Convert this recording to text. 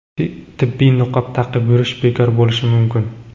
tibbiy niqob taqib yurish bekor bo‘lishi mumkin.